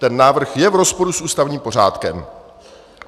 Ten návrh je v rozporu s ústavním pořádkem.